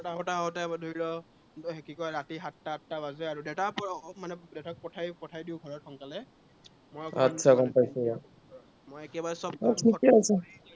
ঘৰত আহোঁতে আহোঁতে ধৰি ল, এ কি কয়, ৰাতি সাতটা-আঠটা বাজে আৰু। দেতাক মানে উম দেতাক পঠাই পঠাই দিঁও ঘৰত সোনকালে। आतछा গম পাইছো। মই একেবাৰে নাই, ঠিকেই আছে